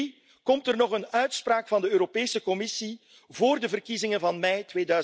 Drie, komt er nog een uitspraak van de Europese Commissie vóór de verkiezingen van mei